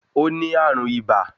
O ní ààrùn ibà